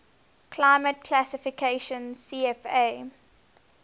climate classification cfa